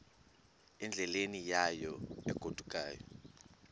endleleni yayo egodukayo